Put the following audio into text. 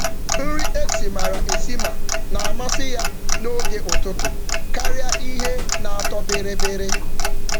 Ọ na-ahọrọ nri savory maka ụtụtụ kama ihe na-atọ ụtọ.